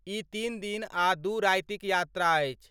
ई तीन दिन आ दू रातिक यात्रा अछि।